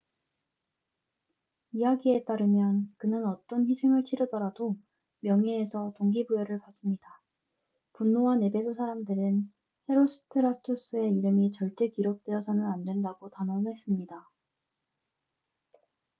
이야기에 따르면 그는 어떤 희생을 치르더라도 명예에서 동기를 부여받습니다 분노한 에베소 사람들은 헤로스트라투스의 이름이 절대 기록되어서는 안된다고 단언했습니다